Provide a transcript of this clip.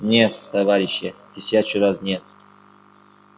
нет товарищи тысячу раз нет